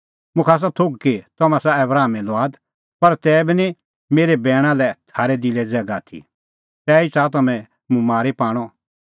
मुखा आसा थोघ कि तम्हैं आसा आबरामे लुआद पर तैबी निं मेरै बैणा लै थारै दिलै ज़ैगा आथी तैही च़ाहा तम्हैं मुंह मारी पाणअ